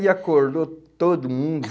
e acordou todo mundo.